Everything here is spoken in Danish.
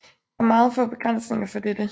Der er meget få begrænsninger for dette